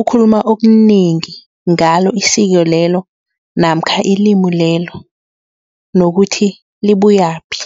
ukhuluma okunengi ngalo isiko lelo namkha ilimi lelo nokuthi libuyaphi.